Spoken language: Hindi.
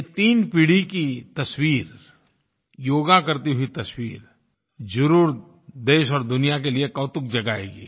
ये तीन पीढ़ी की तस्वीर योगा करती हुई तस्वीर ज़रूर देश और दुनिया के लिए कौतुक जगाएगी